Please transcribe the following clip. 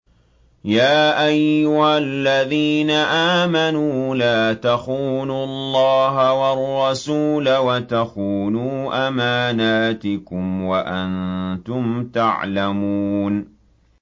يَا أَيُّهَا الَّذِينَ آمَنُوا لَا تَخُونُوا اللَّهَ وَالرَّسُولَ وَتَخُونُوا أَمَانَاتِكُمْ وَأَنتُمْ تَعْلَمُونَ